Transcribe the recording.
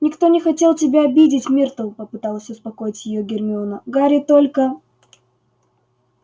никто не хотел тебя обидеть миртл попыталась успокоить её гермиона гарри только